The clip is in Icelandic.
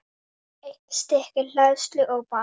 Eitt stykki hleðslu og banana.